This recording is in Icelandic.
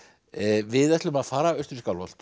við ætlum að fara austur í Skálholt við